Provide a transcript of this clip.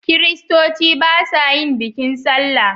Kiristoci ba sa yin bikin sallah